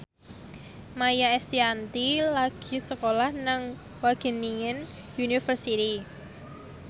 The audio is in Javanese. Maia Estianty lagi sekolah nang Wageningen University